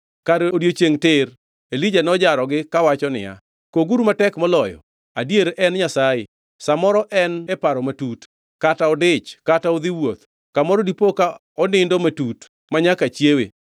Kar odiechiengʼ tir, Elija nojarogi kawacho niya, “Koguru matek moloyo!” Adier en nyasaye! Sa moro en e paro matut; kata odich kata odhi wuoth! Kamoro dipo ka onindo matut manyaka chiewe.